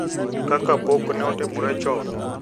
Kaka pok ne otimore chon